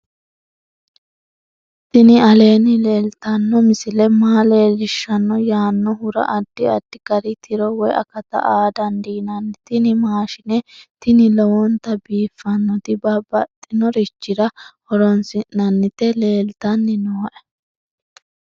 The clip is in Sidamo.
tini aleenni leeltanno misile maa leellishshanno yaannohura addi addi gari tiro woy akata aa dandiinanni tini mashshine tini lowonta biiffannoti babbaxinorichira horronsi'nanniti leeltanni nooe